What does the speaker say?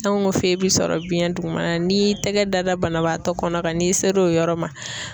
Fɛn o fɛn bɛ sɔrɔ biyɛn dugumana n'i y'i tɛgɛ da banabaatɔ kɔnɔ kan n'i sera o yɔrɔ ma